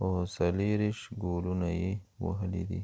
او 24 ګولونه یې وهلی دي